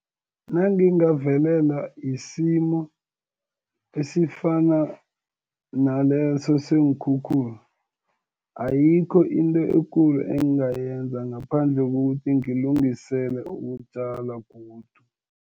Nangingavelela yisimo esifana naleso seenkhukhula, ayikho into ekulu engingayenza, ngaphandle kokuthi ngilungisele ukutjala godu.